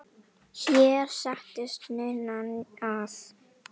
Hér settist Ninna að.